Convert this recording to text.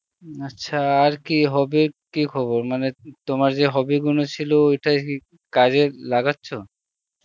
উম আচ্ছা আর কি হবে কি খবর মানে, তোমার যে hobby গুলো ছিল ঐটা কি কাজে লাগাচ্ছ?